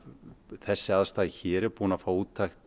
þessi aðstaða hér er búin að fá úttekt